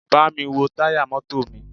Bámi wo táyà mọ́tò mi!